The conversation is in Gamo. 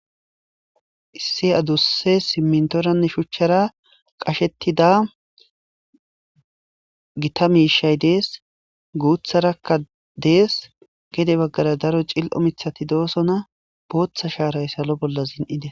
Issi aduse dimitoranne shuchara qashetida gita misha des gutharaka des gede bagara daro cil'o mithati dosona botha sharay salo bola zindes